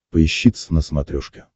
поищи твз на смотрешке